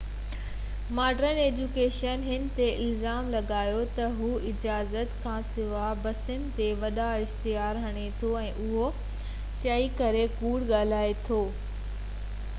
modern education هن تي الزام لڳايو تہ هو اجازت کانسواءِ بسن تي وڏا اشتهار هڻي ٿو ۽ اهو چئي ڪري ڪوڙ ڳالهائي ٿو تہ هي چيف انگريزي استاد هو